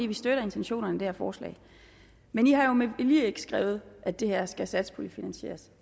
vi støtter intentionerne i det her forslag men i har jo med vilje ikke skrevet at det her skal satspuljefinansieres